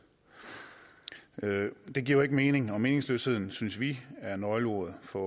det giver jo ikke mening og meningsløshed synes vi er nøgleordet for